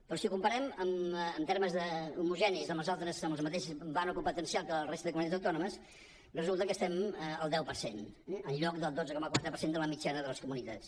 però si ho comparem en termes homogenis amb el mateix ventall competencial que la resta de comunitats autònomes resulta que estem al deu per cent eh en lloc del dotze coma quatre per cent de la mitjana de les comunitats